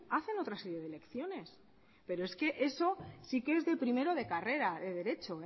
hacen otra serie de elecciones pero es que eso sí que es de primero de carrera de derecho